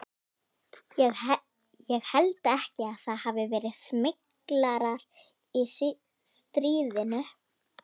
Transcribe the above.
Ég held ekki að það hafi verið smyglarar í stríðinu.